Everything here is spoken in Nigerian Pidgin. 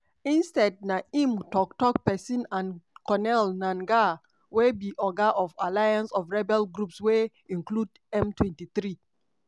instead na im tok-tok pesin and corneille nangaa wey be oga of alliance of rebel groups wey include m23